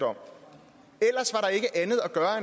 om er